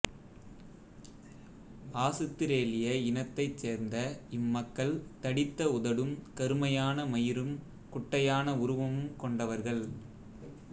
ஆசுத்திரேலிய இனத்தைச் சேர்ந்த இம்மக்கள் தடித்த உதடும் கருமையான மயிரும் குட்டையான உருவமும் கொண்டவர்கள்